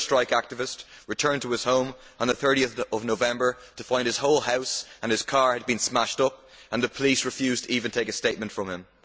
Another strike activist returned to his home on 30 November to find his whole house and his car had been smashed up, and the police refused even to take a statement from him.